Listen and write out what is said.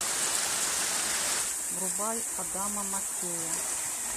врубай адама маккея